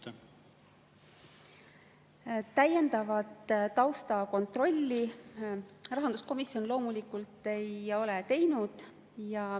Täiendavat taustakontrolli rahanduskomisjon loomulikult ei ole teinud.